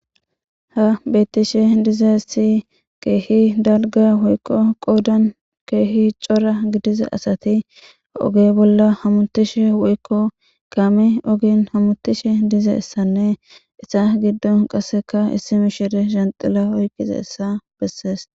Ha betishe dizayisi kehi dalga gidida woyiko qodan kehi co,ra gidiza asati oge bolla hamutishe woyiko kame ogen hamutishe dizayisa nne hesa gidon qasika issi mishiriya dzanxila oyikidayisa besees